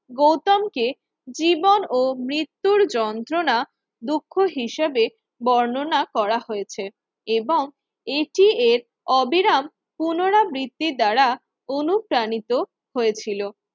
গৌতম কে জীবন ও মৃত্যুর যন্ত্রণা দুঃখ হিসেবে বর্ণনা করা হয়েছে এবং এটি এর অবিরাম পুনরাবৃত্তির দ্বারা অনুপ্রাণিত হয়েছিল।